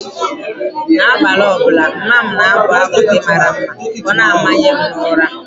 N’abalị ọ bụla, mama m na-abụ abụ ndị mara mma ka ọ na-amanye m ụra.